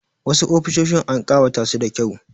Wasu ofisoshin an ƙawata su da kyau.